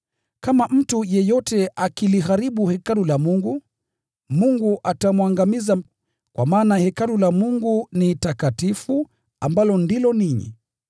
Kama mtu yeyote akiliharibu hekalu la Mungu, Mungu atamwangamiza; kwa maana hekalu la Mungu ni takatifu, na ninyi ndiyo hilo hekalu.